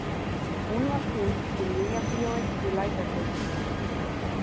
Hún var sýnd í Nýjabíói í Lækjargötu.